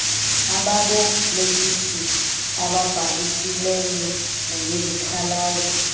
ababolekisi ababhalisileyo nangezikhalazo